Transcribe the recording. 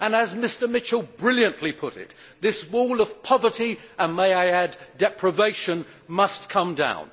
As Mr Mitchell brilliantly put it, this wall of poverty and, may I add, deprivation must come down.